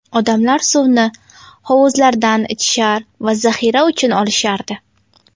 Odamlar suvni hovuzlardan ichishar va zaxira uchun olishardi .